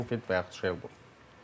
Linfeld və yaxud Şeyl.